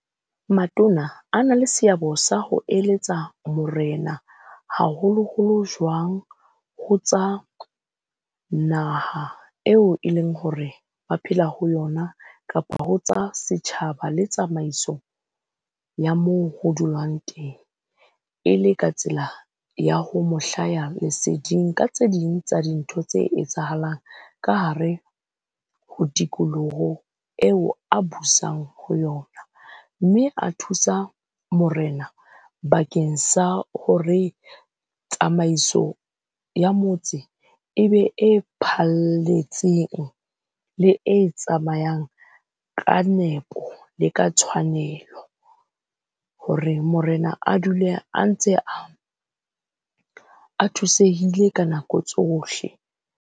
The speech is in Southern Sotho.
Matona a na le seabo sa ho eletsa morena haholoholo jwang ho tsa naha eo e leng hore ba phela ho yona, kapa ho tsa setjhaba le tsamaiso ya moo ho dulwang teng. E le ka tsela ya ho mo hlaya leseding ka tse ding tsa dintho tse etsahalang ka hare ho tikoloho eo a busang ho yona. Mme a thusa morena bakeng sa hore tsamaiso ya motse e be e phalletseng le e tsamayang ka nepo, le ka tshwanelo hore morena a dule a ntse a, a thusehile ka nako tsohle.